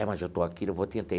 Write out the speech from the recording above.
É, mas eu estou aqui, eu vou tentar.